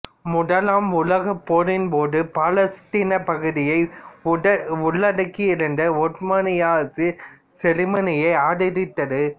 முதலாம் உலகப் போரின்போது பாலஸ்தீனப் பகுதியை உள்ளடக்கியிருந்த ஒட்டோமானிய அரசு செருமனியை ஆதரித்தது